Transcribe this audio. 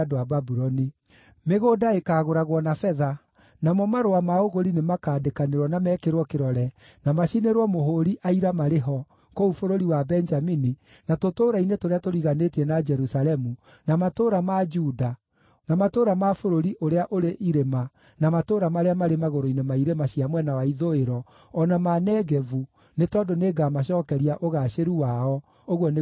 Mĩgũnda ĩkaagũragwo na betha, namo marũa ma ũgũri nĩmakandĩkanĩrwo na mekĩrwo kĩrore na macinĩrĩrwo mũhũũri aira marĩ ho, kũu bũrũri wa Benjamini, na tũtũũra-inĩ tũrĩa tũriganĩtie na Jerusalemu, na matũũra ma Juda, na matũũra ma bũrũri ũrĩa ũrĩ irĩma na matũũra marĩa marĩ magũrũ-inĩ ma irĩma cia mwena wa ithũĩro, o na ma Negevu, nĩ tondũ nĩngamacookeria ũgaacĩru wao, ũguo nĩguo Jehova ekuuga.”